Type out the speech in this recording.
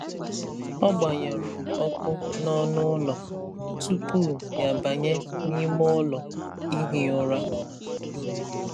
Ọ gbanyụrụ ọkụ n’ọnụ ụlọ tupu ya abanye n’ime ụlọ ihi ụra.